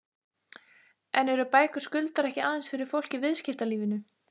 En eru bækur Skuldar ekki aðeins fyrir fólk í viðskiptalífinu?